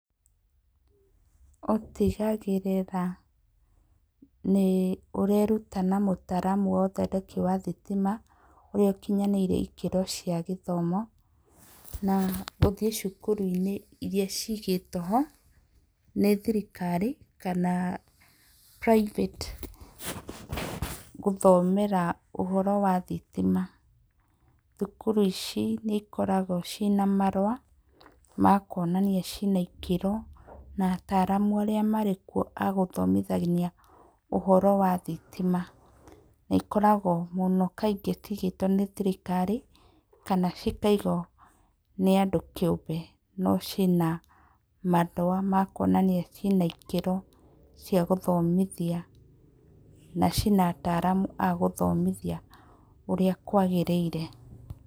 Ũtigagĩrĩra nĩ ũreruta na mũtaaramu wa ũthondeki wa thitima ũrĩa ũkinyanĩire ikĩro cia gĩthomo na gũthiĩ cukuru-inĩ irĩa ciigĩtwo ho nĩ thirikari kana private gũthomera ũhoro wa thitima. Thukuru ici nĩ ikoragwo ciĩna marũa ma kuonania ciina ikĩro na ataaramu arĩa marĩ kuo agũthomithania ũhoro wa thitima. Nĩ ikoragwo mũno kaingĩ ciigĩtwo nĩ thirikari kana cikaigwo nĩ andũ kĩumbe. No ciĩ na marũa ma kuonania atĩ ciĩna ikĩro cia gũthomithia na ciina ataaramu agũthomithia ũrĩa kwagĩrĩire.